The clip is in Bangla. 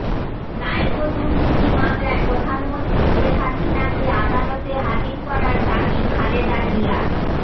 নাইকো দুর্নীতি মামলায় প্রধানমন্ত্রী শেখ হাসিনাকে আদালতে হাজির করার দাবি খালেদা জিয়ার